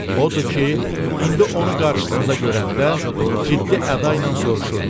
Odur ki, indi onu qarşısında görəndə ciddi əda ilə soruşurdu: